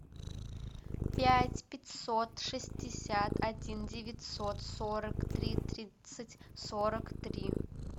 пять пятьсот шестьдесят один девятьсот сорок три тридцать сорок три